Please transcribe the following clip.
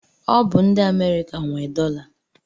Ọ bụ ndị Amerịka nwe dọla.